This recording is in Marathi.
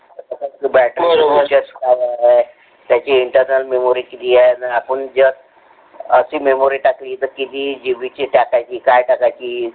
battery कशी असणार आहे. त्याची Internal memory किती आहे आपुन जर अशी memory टाकली तर किती GB ची ज टाकायची काय टाकायची